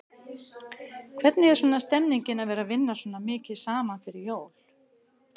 Hvernig er svona stemningin að vera vinna svona mikið saman fyrir jól?